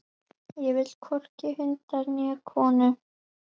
Ég vil hvorki hunda né konur.